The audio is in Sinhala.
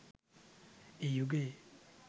ඒ යුගයේ